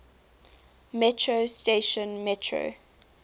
metro station metro